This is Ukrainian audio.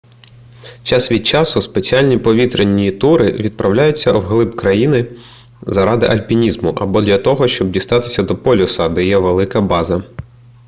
час від часу спеціальні повітряні тури відправляються вглиб країни заради альпінізму або для того щоб дістатися до полюса де є велика база